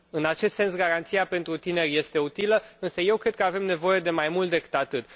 În acest sens, garanția pentru tineri este utilă, însă eu cred că avem nevoie de mai mult decât atât.